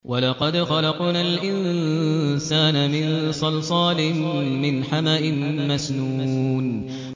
وَلَقَدْ خَلَقْنَا الْإِنسَانَ مِن صَلْصَالٍ مِّنْ حَمَإٍ مَّسْنُونٍ